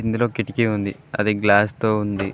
ఇందులో కిటికీ ఉంది అది గ్లాస్ తో ఉంది.